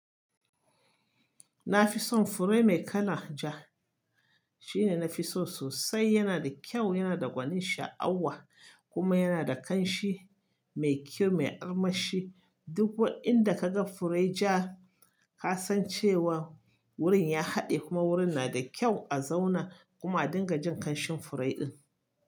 Na fi son fure mai kalan ja. Shine nafi so sosai, yana da kyau, yana da gwanin sha'awa kuma yana da ƙanshi mai kyau, mai armashi. Duk inda ka ga fure ja, ka san cewa wurin ya haɗe kuma wurin na da kyau a zauna. Kuma a dinga jin ƙanshin fure in.